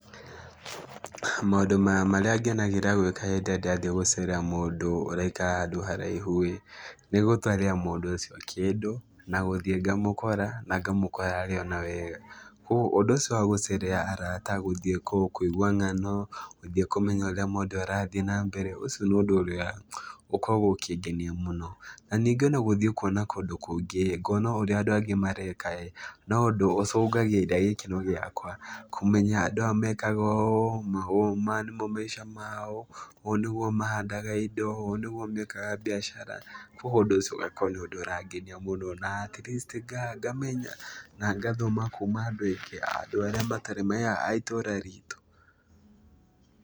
Maũndũ ma marĩa ngenagĩra gwĩka hĩndĩ ĩrĩa ndathiĩ gũcerera mũndũ ũraikara handũ haraihu-ĩ, nĩgũtwarĩra mũndũ ũcio kĩndũ na gũthiĩ ngamũkora na ngamũkora arĩ ona wega, kuoguo ũndũ ũcio wa gũcerera arata gũthiĩ kwao, kũigua ng'ano, gũthiĩ kũmenya ũrĩa mũndũ arathiĩ na mbere, ũcio nĩ ũndũ ũrĩa ũkoragwo ũkĩngenia mũno. Na ningĩ ona gũthiĩ kuona kũndũ kũngĩ-ĩ, ngona ũrĩa andũ angĩ mareka-ĩ, no ũndũ ũcũngagĩrĩria gĩkeno gĩakwa, kũmenya andũ aya mekaga ũũ na ũũ, maya nĩmo maica mao, ũũ nĩguo mahandaga indo, ũũ nĩguo mekaga mbiacara, kuoguo ũndũ ũcio ũgakorwo nĩ ũndũ ũrangenia mũno na at least ngamenya na ngathoma kuma andũ aingĩ, andũ arĩa matarĩ me a itũra ritũ.